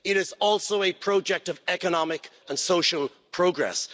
it is also a project of economic and social progress.